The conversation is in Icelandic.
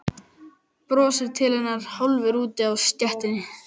Brosir til hennar hálfur úti á stéttinni.